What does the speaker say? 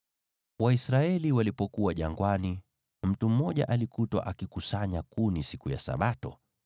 Waisraeli walipokuwa jangwani, mtu mmoja alikutwa akikusanya kuni siku ya Sabato.